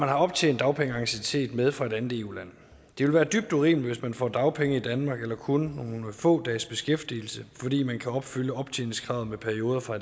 optjent dagpengeanciennitet med fra et andet eu land det vil være dybt urimeligt hvis man får dagpenge i danmark efter kun nogle få dages beskæftigelse fordi man kan opfylde optjeningskravet med perioder fra